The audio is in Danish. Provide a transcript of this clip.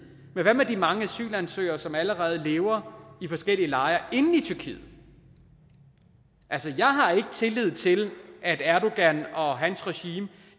men hvad med alle de mange asylansøgere som allerede lever i forskellige lejre inde i tyrkiet altså jeg har ikke tillid til at erdogan og hans regime